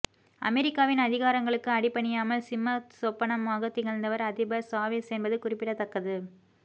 அமரிக்காவின் அதிகாரங்களுக்கு அடிபணியாமல் சிம்ம சொப்பனமாக திகழ்ந்தவர் அதிபர் சாவேஸ் என்பது குறிப்பிடத்தக்கது